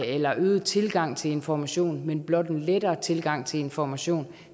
eller øget tilgang til information men blot letter tilgangen til information